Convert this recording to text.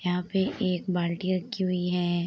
यहाँ पे एक बाल्टी रखी हुई है।